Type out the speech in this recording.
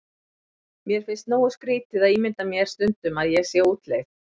Mér finnst nógu skrýtið að ímynda mér stundum ég sé á útleið.